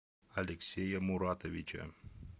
алексея муратовича